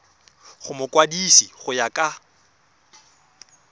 go mokwadise go ya ka